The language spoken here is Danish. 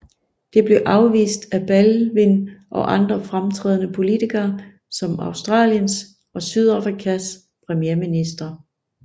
Det blev afvist af Baldwin og andre fremtrædende politikere som Australiens og Sydafrikas premierministre